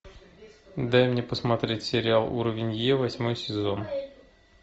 дай мне посмотреть сериал уровень е восьмой сезон